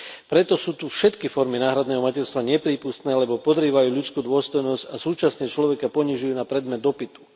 Preto sú tu všetky formy náhradného materstva neprípustné, lebo podrývajú ľudskú dôstojnosť a súčasne človeka ponižujú na predmet dopytu.